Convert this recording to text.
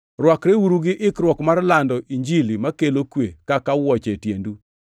rwakreuru gi ikruok mar lando Injili makelo kwe kaka wuoche e tiendu.